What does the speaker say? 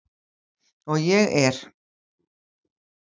Og ég er.